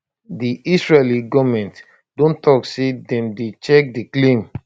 di israeli goment don tok say dem dey check di claim